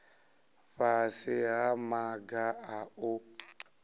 fhasi ha maga a u